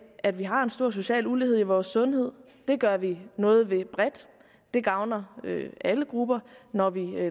at vi har en stor social ulighed i vores sundhed det gør vi noget ved bredt det gavner alle grupper når vi